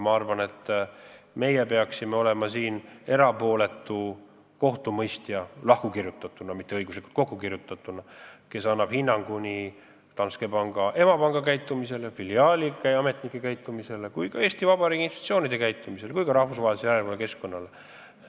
Ma arvan, et meie peaksime siin olema erapooletu kohtu mõistja – lahku kirjutatuna, mitte kokku nagu tavaliselt –, kes annab hinnangu Danske emapanga käitumisele, filiaali töötajate käitumisele, Eesti Vabariigi institutsioonide käitumisele ja ka rahvusvahelisele järelevalvekeskkonnale.